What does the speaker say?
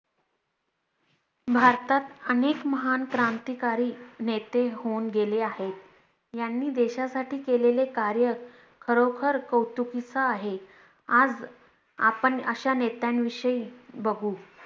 भारतात अनेक महान क्रांतिकारी नेते होऊन गेले आहेत. यांनी देशासाठी केलेले कार्य खरोखर कौतुकीच आहे. आज आपण अश्या नेत्यांविषयी बघू